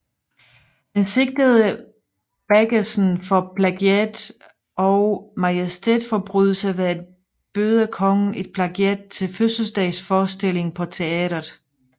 Han sigtede Baggesen for plagiat og for majestætsforbrydelse ved at byde kongen et plagiat til fødselsdagsfestforestillingen på teatret